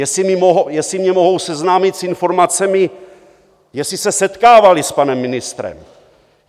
Jestli mě mohou seznámit s informace, jestli se setkávali s panem ministrem!